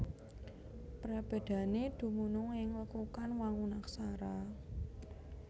Prabédané dumunung ing lekukan wangun Aksara